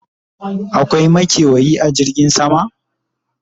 akwai makewayi a jirgin sama?